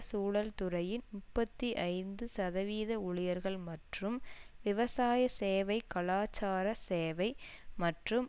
சூழல் துறையின் முப்பத்தி ஐந்து சதவீத ஊழியர்கள் மற்றும் விவசாய சேவை கலாச்சார சேவை மற்றும்